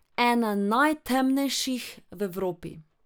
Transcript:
Ena najtemnejših v Evropi.